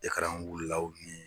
wulilaw nin.